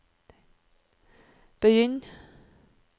begynn